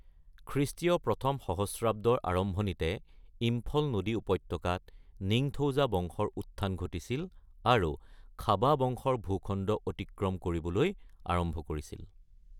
খ্ৰীষ্টীয় ১ম সহস্ৰাব্দৰ আৰম্ভণিতে ইম্ফল নদী উপত্যকাত নিংথৌজা বংশৰ উত্থান ঘটিছিল আৰু খাবা বংশৰ ভূখণ্ড অতিক্ৰম কৰিবলৈ আৰম্ভ কৰিছিল।